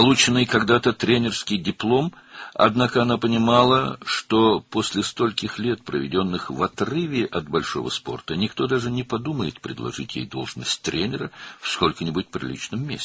Bir vaxtlar aldığı məşqçi diplomu vardı, lakin o başa düşürdü ki, böyük idmandan ayrılıqda keçirdiyi bu qədər ildən sonra heç kim ona layiqincə bir yerdə məşqçi vəzifəsi təklif etməyi belə düşünməyəcək.